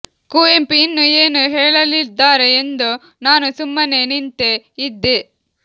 ಕುವೆಂಪು ಇನ್ನೂ ಏನೋ ಹೇಳಲಿದ್ದಾರೆ ಎಂದು ನಾನು ಸುಮ್ಮನೆ ನಿಂತೇ ಇದ್ದೆ